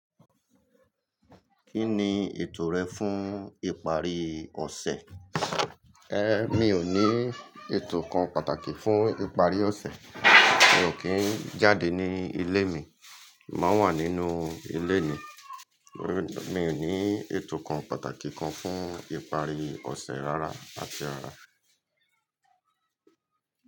Kí ni ètò rẹ fún ìparí ọ̀sẹ̀? Mi ò ní ètò kan pàtàkì fún ìparí ọ̀sẹ̀. Mi ò kí ń jáde ní ilé mi, màá wà nínú ilé ni. Mi ò ní ètò kan pàtàkì kan fún ìparí ọ̀sẹ̀ rárá àti rara.